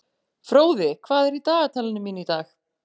Fróði, hvað er í dagatalinu mínu í dag?